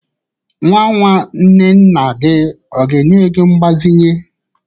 Nwa nwa nwanne nna gi ọ ga-enye ego mbazinye?